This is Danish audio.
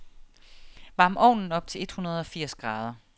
Varm ovnen op til hundredeogfirs grader.